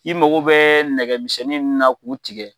I mago bɛ nɛgɛmisɛnnin munnu na k'u tigɛ